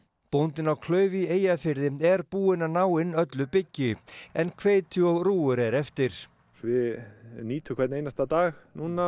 bóndinn á klauf í Eyjafirði er búinn að ná inn öllu byggi en hveiti og er eftir við nýtum hvern einasta dag